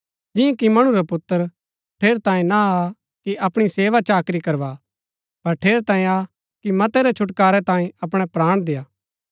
जिंआ कि मणु रा पुत्र ठेरैतांये ना आ कि अपणी सेवा चाकरी करवा पर ठेरैतांये आ कि मतै रै छुटकारै तांयें अपणै प्राण देय्आ